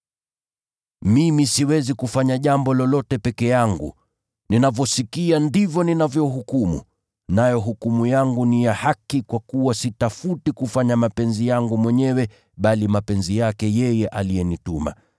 “Mimi siwezi kufanya jambo lolote peke yangu. Ninavyosikia ndivyo ninavyohukumu, nayo hukumu yangu ni ya haki kwa kuwa sitafuti kufanya mapenzi yangu mwenyewe, bali mapenzi yake yeye aliyenituma.